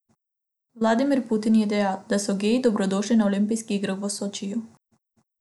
Vladimir Putin je dejal, da so geji dobrodošli na olimpijskih igrah v Sočiju.